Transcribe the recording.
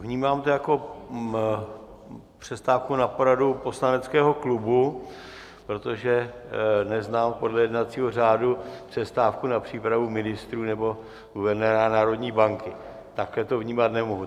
Vnímám to jako přestávku na poradu poslaneckého klubu, protože neznám podle jednacího řádu přestávku na přípravu ministrů nebo guvernéra národní banky, takhle to vnímat nemohu.